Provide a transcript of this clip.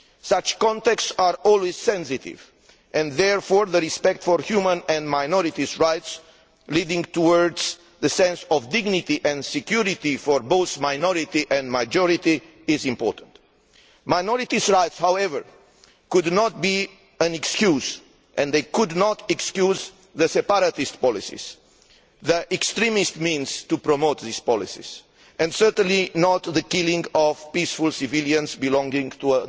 Such contexts are always sensitive and, therefore, respect for human and minority rights leading towards the sense of dignity and security for both minority and majority is important. Minority rights, however, should not be an excuse for, and they could not excuse, the separatist policies, the extremist means to promote those policies and certainly not the killing of peaceful civilians belonging to